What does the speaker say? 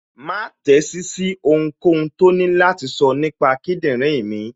Má tẹ́sí sí ohunkóhun tó ní láti sọ nípa kíndìnrín mi